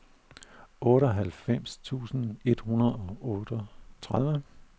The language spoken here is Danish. otteoghalvfems tusind et hundrede og otteogtredive